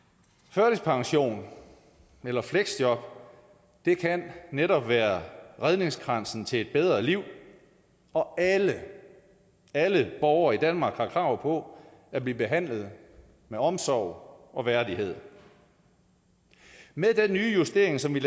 førtidspension eller fleksjob kan netop være redningskransen til et bedre liv og alle alle borgere i danmark har krav på at blive behandlet med omsorg og værdighed med den nye justering som vi